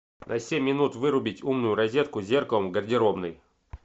на семь минут вырубить умную розетку с зеркалом гардеробной